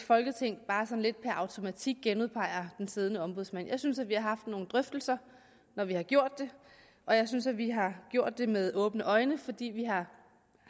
folketinget bare sådan lidt per automatik genudpeger den siddende ombudsmand jeg synes at vi har haft nogle drøftelser når vi har gjort det og jeg synes at vi har gjort det med åbne øjne fordi vi har